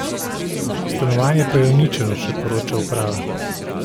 Stanovanje pa je uničeno, še poroča uprava.